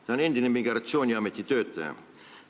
Ta on endine migratsiooniameti töötaja.